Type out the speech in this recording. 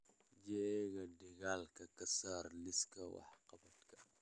jeega dhigaalka ka saar liiska wax-qabadka